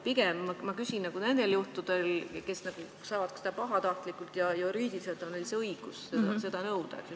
Pigem ma küsin nende kohta, kes saavad seda puhkust nagu pahatahtlikult ja juriidiliselt on neil õigus seda nõuda.